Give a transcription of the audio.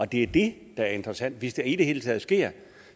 det er det der er interessant altså hvis det i det hele taget sker